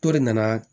To de nana